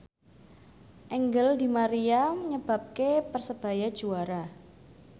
Angel di Maria nyebabke Persebaya juara